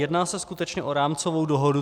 Jedná se skutečně o rámcovou dohodu.